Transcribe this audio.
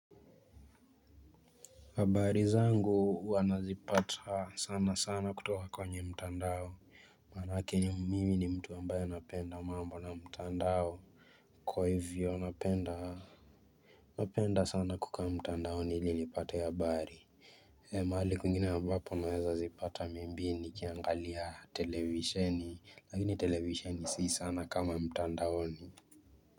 Habari zangu huwa nazipata sana sana kutoka kwenye mtandao. Maanake mimi ni mtu ambaye napenda mambo na mtandao. Kwa hivyo napenda sana kukaa mtandaoni ili nipate habari. Mahali kwingine ambapo naweza zipata maybe nikiangalia televisheni lakini televisheni si sana kama mtandaoni.